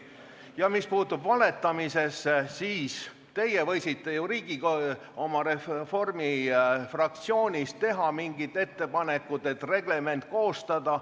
Ja mis puutub valetamisesse, siis te võisite ju oma fraktsioonis arutada mingit ettepanekut reglement koostada.